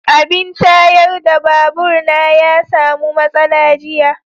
abin tayar da babur na ya samu matsala jiya.